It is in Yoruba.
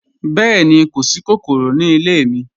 Bẹẹ̀ni, kò sí kòkòrò ní ilẹ̀ mi.